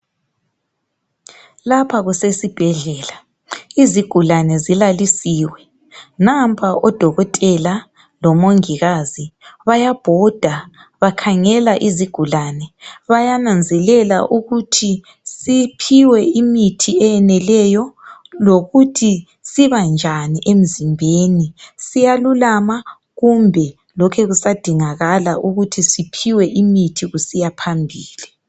Lapha kusesibhedlela, izigulane zilalisiwe. Nampa odokotela lomongikazi bayabhoda bakhangela izigulane bayananzelela ukuthi siphiwe umuthi oyeneleyo lokuthi siba njani emzimbeni siyalulama kumbe lokhe kusadingakala imithi ukuthi siphiwe kusiya phambili.